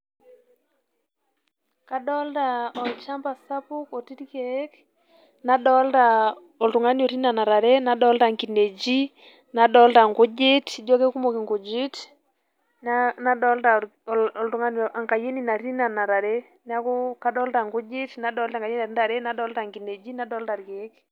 Kadolta olchamba sapuk otii irkeek, nadolta oltung'ani otii nena tare, nadolta inkinejik, nadolta inkujit, ijo kekumok inkujit. Nadolta oltung'ani enkayioni natii nena tare. Neeku kadolta nkujit, nadolta ntare, nadolta nkinejik nadolta irkeek.